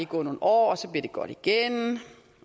gå nogle år og så bliver det godt igen